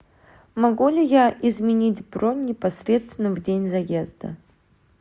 могу ли я изменить бронь непосредственно в день заезда